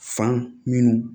Fan minnu